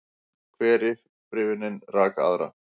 Hver upprifjunin rak aðra.